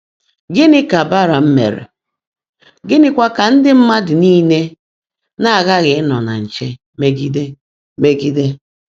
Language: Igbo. Gịnị ka Belam mere, gịnịkwa ka ndị mmadụ nile na-aghaghị ịnọ na nche megide? megide?